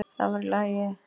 Það var í lagi.